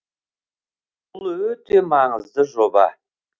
бұл өте маңызды жоба